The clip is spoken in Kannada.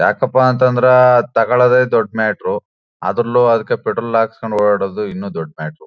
ಯಾಕಪ್ಪ ಅಂತ ಅಂದ್ರೆ ತಗೋಳೋದೆ ದೊಡ್ ಮ್ಯಾಟರ್ ಅದ್ರಲ್ಲೂ ಅದಕೆ ಪೆಟ್ರೋಲ್ ಹಾಕೆಸ್ಕೊಂಡು ಓಡಾಡೋದು ಇನ್ನು ದೊಡ್ ಮ್ಯಾಟರ್ .